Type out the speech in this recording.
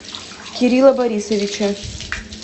кирилла борисовича